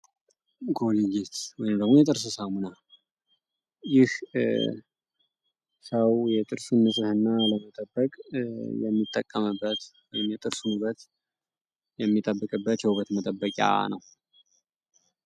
ኮልጌት ወይም የጥርስ ሳሙና ሰው የጥርስን ንጽህና ለመጠበቅ የሚጠቀምበት ንጽናውን የሚጠብቅበት የውበት መጠበቂያ ነው።